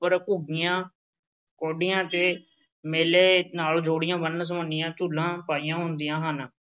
ਉੱਪਰ ਘੁੱਗੀਆਂ, ਕੌਡੀਆਂ ਤੇ ਮੇਲੇ ਨਾਲ ਜੁੜੀਆਂ ਵੰਨ-ਸੁਵੰਨੀਆਂ ਝੂਲਾਂ ਪਾਈਆਂ ਹੁੰਦੀਆਂ ਹਨ।